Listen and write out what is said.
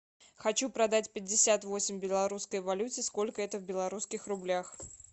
хочу продать пятьдесят восемь в белорусской валюте сколько это в белорусских рублях